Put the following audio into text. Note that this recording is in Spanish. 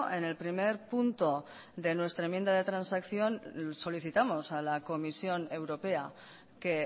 en el primer punto de nuestra enmienda de transacción solicitamos a la comisión europea que